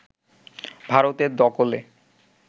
ভারতের দখলে